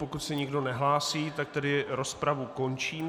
Pokud se nikdo nehlásí, tak tedy rozpravu končím.